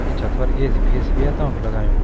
तख छत पर ऐ.सी फेसी भी तौंकु लगायुं।